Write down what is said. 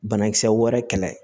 Banakisɛ wɛrɛ kɛlɛ